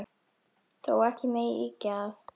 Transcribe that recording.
Þó megi ekki ýkja það.